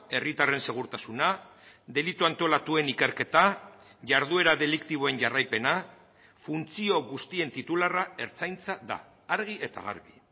herritarren segurtasuna delitu antolatuen ikerketa jarduera deliktiboen jarraipena funtzio guztien titularra ertzaintza da argi eta garbi